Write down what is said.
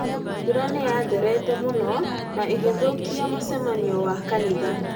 Mbura nĩ yatherete mũno na ĩgĩthũkia mũcemanio wa kanitha